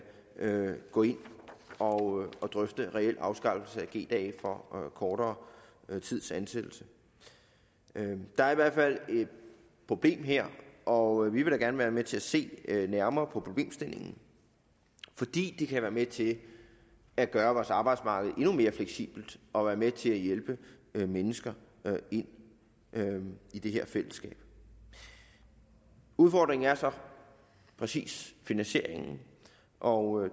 gå ind og drøfte en reel afskaffelse af g dage for kortere tids ansættelse der er i hvert fald et problem her og vi vil da gerne være med til at se nærmere på problemstillingen fordi det kan være med til at gøre vores arbejdsmarked endnu mere fleksibelt og være med til at hjælpe mennesker ind i det her fællesskab udfordringen er så præcis finansieringen og